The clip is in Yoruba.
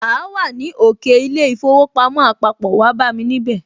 Áá wà ní òkè kí í ilé īfowòpamó àpapò, wáá bámi níbẹ̀